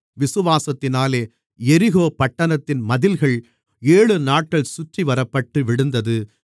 விசுவாசத்தினாலே எரிகோ பட்டணத்தின் மதில்கள் ஏழுநாட்கள் சுற்றிவரப்பட்டு விழுந்தது